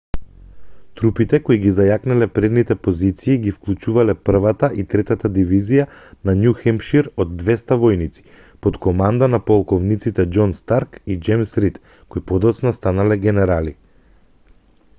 трупите кои ги зајакнале предните позиции ги вклучувале 1-та и 3-та дивизија на њу хемпшир од 200 војници под команда на полковниците џон старк и џејмс рид кои подоцна станале генерали